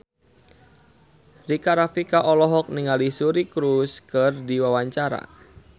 Rika Rafika olohok ningali Suri Cruise keur diwawancara